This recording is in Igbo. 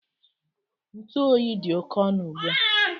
Ntụ oyi dị oke ọnụ ugbu a